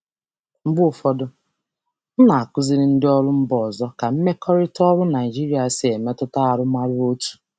Mgbe ụfọdụ, ana m akụziri ndị njikwa si mba ọzọ ka mmekọrịta um ọrụ um Naịjirịa si um emetụta arụmọrụ otu.